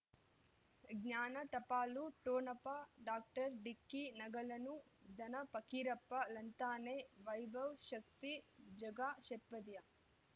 ಜ್ಞಾನ ಟಪಾಲು ಠೊಣಪ ಡಾಕ್ಟರ್ ಢಿಕ್ಕಿ ಣಗಳನು ಧನ ಪಕೀರಪ್ಪ ಳಂತಾನೆ ವೈಭವ್ ಶಕ್ತಿ ಝಗಾ ಷಟ್ಪದಿಯ